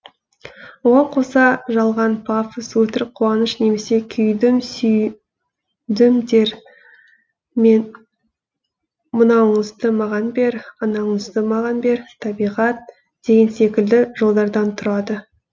оған қоса жалған пафос өтірік қуаныш немесе күйдім сүйдімдер мен мынауыңызды маған бер анауыңызды маған бер табиғат деген секілді жолдардан тұрады